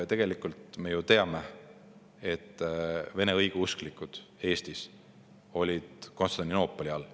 Tegelikult me ju teame, et vene õigeusklikud Eestis olid Konstantinoopoli all.